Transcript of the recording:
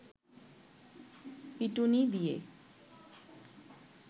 পিটুনি দিয়ে